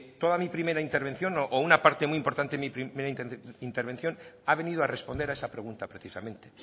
toda mi primera intervención o una parte muy importante de mi primera intervención ha venido a responder a esa pregunta precisamente